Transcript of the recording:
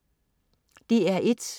DR1: